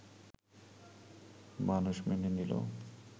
মানুষ মেনে নিল